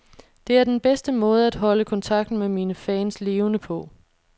Det er den bedste måde at holde kontakten med mine fans levende på.